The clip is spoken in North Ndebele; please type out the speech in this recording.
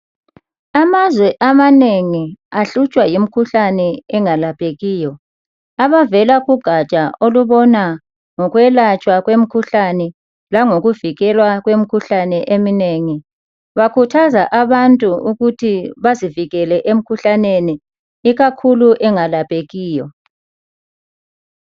Amazwe amanengi abulawa yimikhuhlane engalaphekiyo ,abavela kugatsha lomkhuhlane langokuvikela emkhuhlaneni engalaphekiyo bakhuthaza abantu ukuthi bazivekele kuleyo mikhuhlane.